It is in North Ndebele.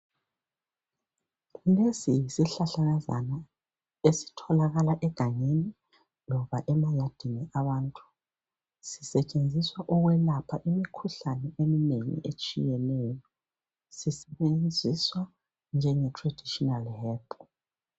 Lesi yisihlahlakazana esitholakala egangeni loba emayadini abantu sisetshenziswa ukwelapha imikhuhlane eminengi etshiyeneyo sisebenziswa njengetraditional herb.